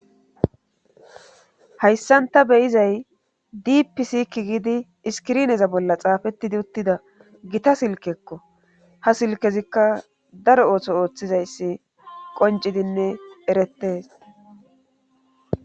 Hayssanta beyizay dipisiki gidi iskirneza bolla xaafettidi uttida gita silkekko ha silkezikka daro ooso ooththizayssi qoncidinne erettes.